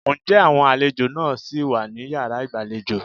Ǹjẹ́ àwọn àlejò náà ṣì wà ní yàrá ìgbàlejò?